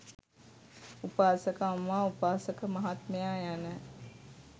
උපාසක අම්මා, උපාසක මහත්මයා යන